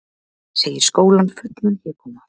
Segir skólann fullan hégóma